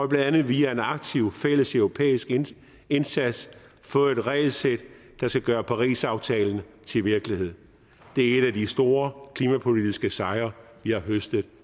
blandt andet via en aktiv fælleseuropæisk indsats fået et regelsæt der skal gøre parisaftalen til virkelighed det er en af de store klimapolitiske sejre vi har høstet